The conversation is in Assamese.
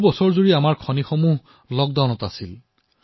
বৰ্ষজুৰি আমাৰ খনি খণ্ড আনলকত আছিল